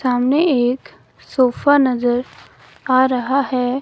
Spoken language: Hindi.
सामने एक सोफा नजर आ रहा है।